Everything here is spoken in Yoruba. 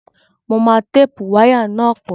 Mo máa téèpù wáyà náà pọ̀